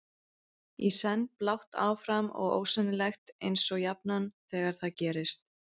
Í senn blátt áfram og ósennilegt eins og jafnan þegar það gerist.